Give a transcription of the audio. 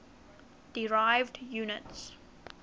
derived units